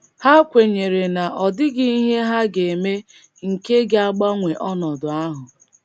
Ha kwenyere na ọ dịghị ihe ha ga - eme nke ga - agbanwe ọnọdụ ahụ.